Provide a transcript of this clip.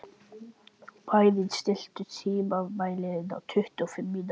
Bæring, stilltu tímamælinn á tuttugu og fimm mínútur.